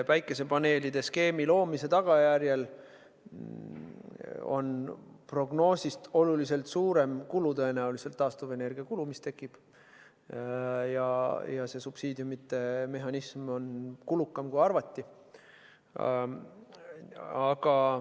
Päikesepaneelide skeemi loomise tõttu tekib prognoosist tõenäoliselt oluliselt suurem taastuvenergiakulu ja subsiidiumide mehhanism on kulukam, kui arvati.